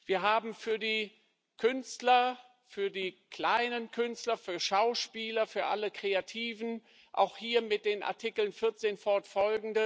Wir haben für die Künstler für die kleinen Künstler, für Schauspieler, für alle Kreativen auch hier mit den Artikeln 14ff.,